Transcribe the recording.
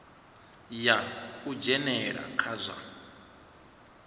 ya u dzhenelela kha zwa